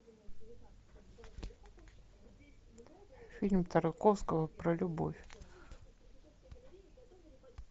фильм тарковского про любовь